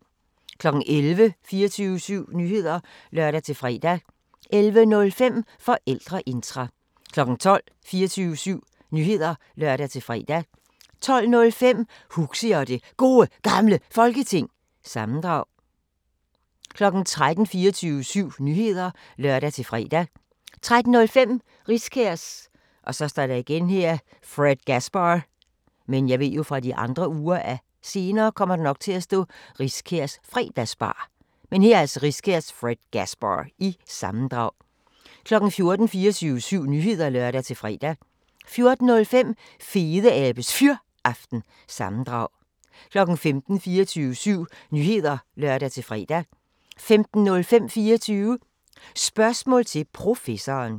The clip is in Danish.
11:00: 24syv Nyheder (lør-fre) 11:05: Forældreintra 12:00: 24syv Nyheder (lør-fre) 12:05: Huxi og det Gode Gamle Folketing - sammendrag 13:00: 24syv Nyheder (lør-fre) 13:05: Riskærs Fredgasbar- sammendrag 14:00: 24syv Nyheder (lør-fre) 14:05: Fedeabes Fyraften – sammendrag 15:00: 24syv Nyheder (lør-fre) 15:05: 24 Spørgsmål til Professoren